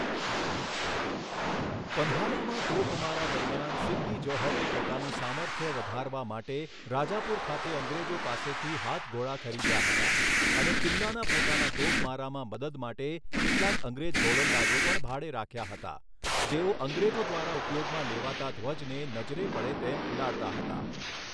પન્હાલામાં તોપમારા દરમિયાન, સિદ્દી જૌહરે પોતાનું સામર્થ્ય વધારવા માટે રાજાપુર ખાતે અંગ્રેજો પાસેથી હાથગોળા ખરીદ્યા હતા અને કિલ્લાના પોતાના તોપમારામાં મદદ માટે કેટલાંક અંગ્રેજ ગોલંદાજો પણ ભાડે રાખ્યા હતા, જેઓ અંગ્રેજો દ્વારા ઉપયોગમાં લેવાતા ધ્વજને નજરે પડે તેમ ઉડાડતા હતા.